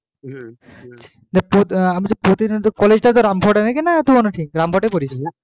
প্রতি আমি তো বলছি প্রতিদিন তো college টা তো রামপুরহাটে নাকি না তো ঠিক রামপুর হাটেই পরিস,